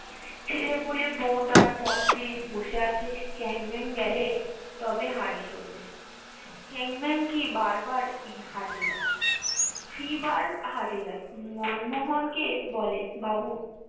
ছেলে পুলে বউ তার পথ চেয়ে বসে আছে চ্যাংম্যান গেলে তবে হাড়ি চড়বে চ্যাংম্যান কি বার বার হাটে যা ফিবার হাটে যায় মনমোহন কে বলে বাবু